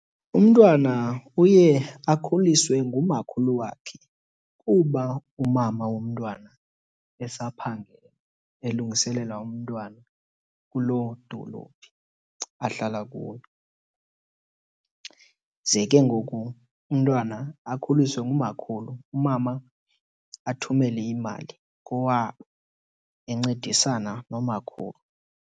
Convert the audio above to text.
Umntwana uye akhuliswe ngumakhulu wakhe kuba umama womntwana esaphangela elungiselela umntwana kuloo dolophu ahlala kuyo. Ze ke ngoku umntwana akhuliswe ngumakhulu, umama athumele imali kowabo encedisana nomakhulu.